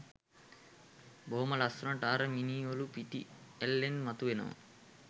බොහොම ලස්සනට අර මිනී ඔළුව පිටි අල්ලෙන් මතුවෙනවා